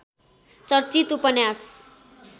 चर्चित उपन्यास